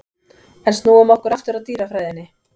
En snúum okkur aftur að dýrafræðinni.